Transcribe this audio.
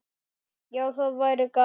Já, það væri gaman.